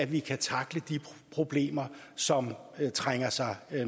vi kan tackle de problemer som trænger sig